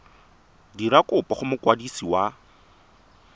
dira kopo go mokwadisi wa